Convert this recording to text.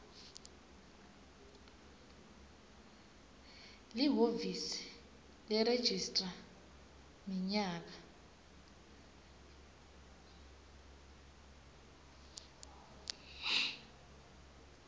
lihhovisi leregistrar minyaka